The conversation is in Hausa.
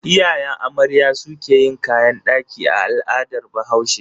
Iyayen amarya su ke yin kayan daki a al'adar bahaushe.